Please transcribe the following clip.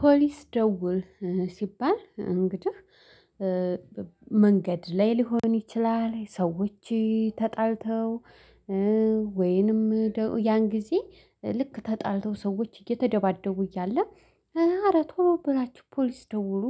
ፖሊስ ደውል ሲባል እንግዲህ መንገድ ላይ ሊሆን ይችላል ሰዎች ተጣልተው ወይንም ያን ጊዜ ልክ ተጣልተው ሰዎች እየተደባደቡ እያለ ኧረ ቶሎ ብላችሁ ፖሊስ ደውሉ